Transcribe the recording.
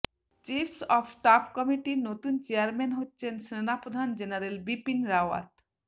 chiefs of staff কমিটির নতুন chairman হচ্ছেন সেনাপ্রধান জেনারেল বিপিন রাওয়াত